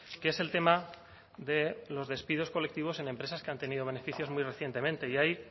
que es el tema de los despidos colectivos en empresas que han tenido beneficios muy recientemente y ahí